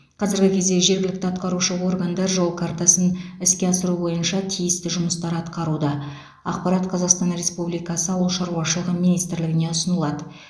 қазіргі кезде жергілікті атқарушы органдар жол картасын іске асыру бойынша тиісті жұмыстар атқаруда ақпарат қазақстан республикасы ауыл шаруашылығы министрлігіне ұсынылады